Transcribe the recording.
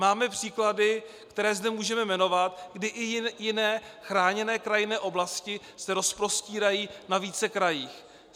Máme příklady, které zde můžeme jmenovat, kdy i jiné chráněné krajinné oblasti se rozprostírají ve více krajích.